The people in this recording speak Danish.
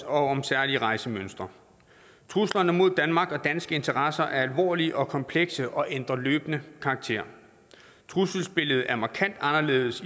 om særlige rejsemønster truslerne mod danmark og danske interesser er alvorlige og komplekse og ændrer løbende karakter trusselsbilledet er markant anderledes